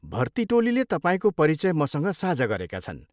भर्ती टोलीले तपाईँको परिचय मसँग साझा गरेका छन्।